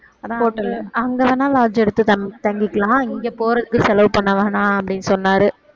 hotel ல அங்க வேணா lodge எடுத்து தங்~ தங்கிக்கலாம் இங்க போறதுக்கு செலவு பண்ண வேணாம் அப்படின்னு சொன்னாரு